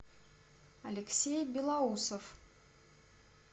алексей белоусов